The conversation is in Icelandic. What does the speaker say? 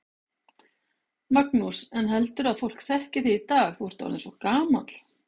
Magnús: En heldurðu að fólk þekki þig í dag, þú ert orðinn svo gamall?